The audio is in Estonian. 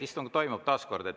Istung toimub.